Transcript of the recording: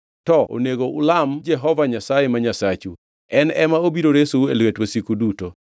To onego ulam Jehova Nyasaye ma Nyasachu, en ema obiro resou e lwet wasiku duto.”